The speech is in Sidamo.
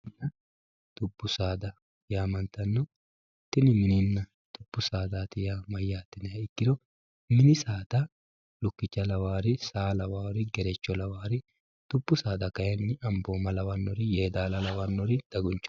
Dubu saada yaamantanno tini mininna dubu saada yaa mayate yiniha ikkiro, mini saada lukkicho lawari, saa lawari, gerecho lawari, dubu sada kayinni ambooma lawari, yeedaalla lawari, daguncho